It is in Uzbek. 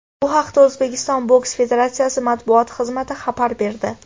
Bu haqda O‘zbekiston boks federatsiyasi matbuot xizmati xabar berdi.